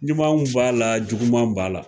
Ɲumanw b'a la, jugumanw b'a la